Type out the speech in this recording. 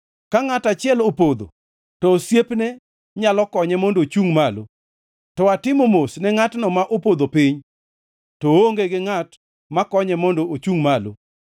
Ka ngʼato achiel opodho, to osiepne nyalo konye mondo ochungʼ malo. To atimo mos ne ngʼatno ma opodho piny to oonge gi ngʼat makonye mondo ochungʼ malo!